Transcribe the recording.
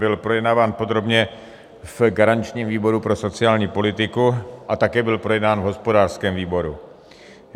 Byl projednáván podrobně v garančním výboru pro sociální politiku a také byl projednán v hospodářském výboru.